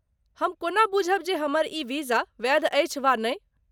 हम कोना बुझब जे हमर ई वीजा वैध अछि वा नहि ?